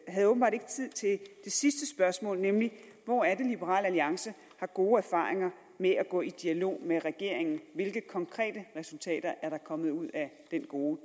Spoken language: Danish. havde åbenbart ikke tid til det sidste spørgsmål nemlig hvor er det liberal alliance har gode erfaringer med at gå i dialog med regeringen hvilke konkrete resultater er der kommet ud af den gode